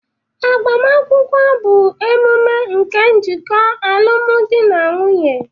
Agbamakwụkwọ bụ emume nke njikọ alụmdi na nwunye